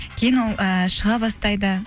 кейін ол ііі шыға бастайды